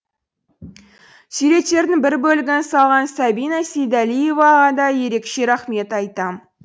суреттердің бір бөлігін салған сабина сейдалиеваға да ерекше рахмет айтам